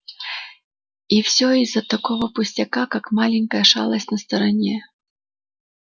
и все из-за такого пустяка как маленькая шалость на стороне